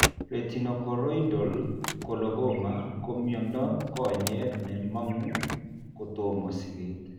Retinochoroidal coloboma ko miondo konyek ne mang'u kotomo siget